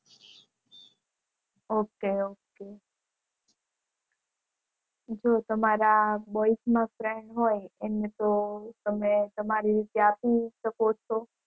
ok જો તમારા boys માં friend હોય એને તમે તમારી રીતે આપી શકો છો.